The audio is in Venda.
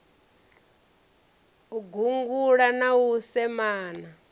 u gungula na u semana